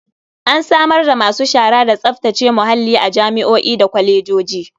An samar da masu shara da tsaftace muhalli a jami'o'i da kwalejoji.